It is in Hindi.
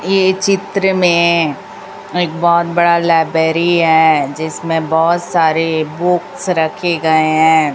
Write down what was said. ये चित्र में एक बहोत बड़ा लाइब्रेरी है जिसमें बहोत सारे बुक्स रखे गए हैं।